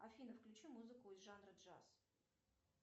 афина включи музыку из жанра джаз